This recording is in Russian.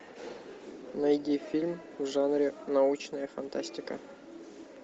найди фильм в жанре научная фантастика